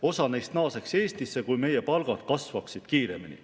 Osa neist naaseksid Eestisse, kui meie palgad kasvaksid kiiremini.